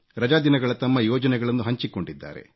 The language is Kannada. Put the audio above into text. ರಜಾ ದಿನಗಳ ತಮ್ಮ ಯೋಜನೆಗಳನ್ನು ಹಂಚಿಕೊಂಡಿದ್ದಾರೆ